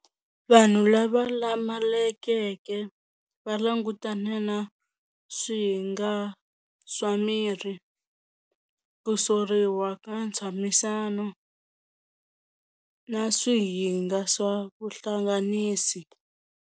Vanhu lava lamalekeke va langutane na swihinga swa miri ku soriwa ka ntshamisano na swihinga swa vuhlanganisi.